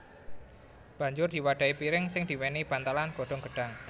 Banjur diwadahi piring sing diwenehi bantalan godhong gedhang